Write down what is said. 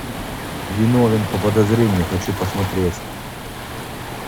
виновен по подозрению хочу посмотреть